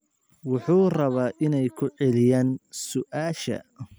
Wuxuu rabaa inay ku celiyaan su'aasha